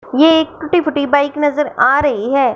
ये एक टूटी फूटी बाइक नजर आ रही है।